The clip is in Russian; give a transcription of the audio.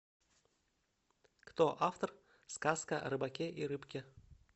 кто автор сказка о рыбаке и рыбке